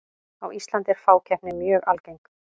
á íslandi er fákeppni mjög algeng